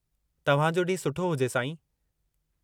तव्हांजो ॾींहुं सुठो हुजे, साईं।